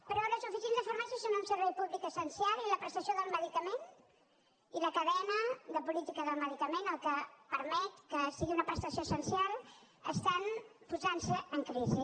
però les oficines de farmàcia són un servei públic essencial i la prestació del medicament i la cadena de política del medicament el que permet que sigui una prestació essencial estan posant se en crisi